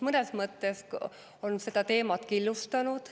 Mõnes mõttes on see teemat killustanud.